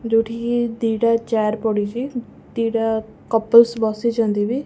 ଯୋଉଠି କି ଦିଟା ଚ୍ୟାର ପଡ଼ିଚି ଦିଟା କପିଲ୍ସ ବସିଛନ୍ତି ବି।